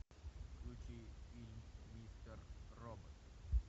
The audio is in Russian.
включи фильм мистер робот